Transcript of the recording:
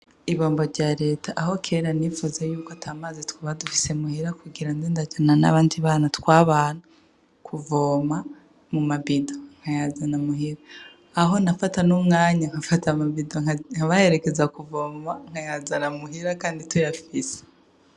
Ibombo rya leta aho kera nifuza yuko atamaze twaba dufise muhera kugira nde ndajana n'abandi bana twabana kuvoma mu mabido nkayazana muhira aho nafata n'umwanya nkafata mabido nkabaheregeza kuvoma nkayazana muhira, kandi tuyafise.